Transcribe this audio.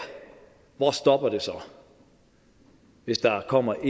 hvor stopper det så hvis der kommer